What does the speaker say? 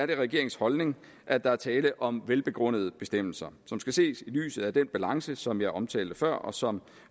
det regeringens holdning at der er tale om velbegrundede bestemmelser som skal ses i lyset af den balance som jeg omtalte før og som